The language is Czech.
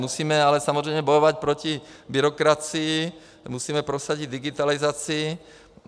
Musíme ale samozřejmě bojovat proti byrokracii, musíme prosadit digitalizaci.